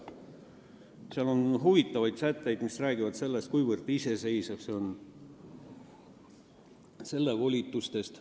Seal on huvitavaid sätteid, mis räägivad sellest, kui iseseisev see fond on, ning räägivad selle volitustest.